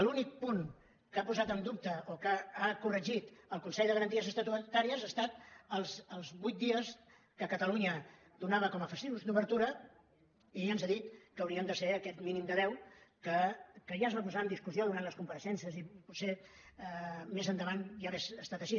l’únic punt que ha posat en dubte o que ha corregit el consell de garanties estatutàries ha estat els vuit dies que catalunya donava com a festius d’obertura i ens ha dit que haurien de ser aquest mínim de deu que ja es va posar en discussió durant les compareixences i potser més endavant ja hauria estat així